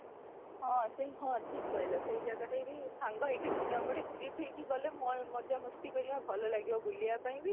ହଁ, ସେଇ ହଁ ଠିକ କହିଲ ସେଇ ଜାଗାଟା ବି ସାଙ୍ଗ ହେଇକି ଗୋଟେ trip ହେଇକି ଗଲେ ମଜା ମସ୍ତି କରିବା ଭଲ ଲାଗିବ ବୁଲିବା ପାଇଁ ବି